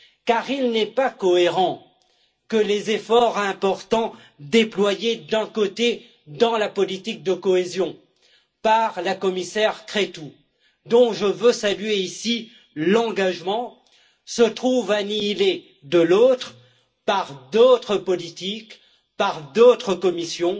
Car il n'est pas cohérent que les efforts importants déployés, d'un côté, dans la politique de cohésion par la commissaire Crețu, dont je veux saluer, ici, l'engagement, se trouve annihilés, de l'autre, par d'autres politiques, par d'autres commissions